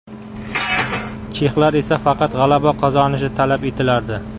Chexlar esa faqat g‘alaba qozonishi talab etilardi.